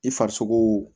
I farisogo